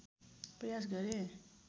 प्रयास गरेँ